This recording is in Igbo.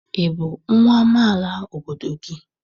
Ị bụ nwa amaala obodo gị?